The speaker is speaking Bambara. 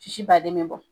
Sisi baden be bɔ